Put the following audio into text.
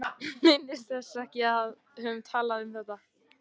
Minntist þess ekki að við hefðum talað um það.